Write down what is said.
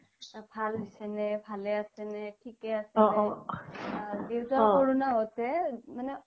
ভাল হৈছে নে ভালে আছে নে থিকে আছে নে দেউতা সৰু ন চ্'ব্ত কে মানে